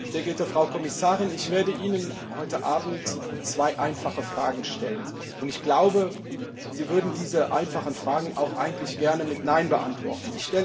Sehr geehrte Frau Kommissarin! Ich werde Ihnen heute Abend zwei einfache Fragen stellen, und ich glaube, Sie würden diese einfachen Fragen auch eigentlich gerne mit Nein beantworten.